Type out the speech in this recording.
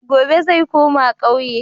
Gobe ​​zai koma kauye.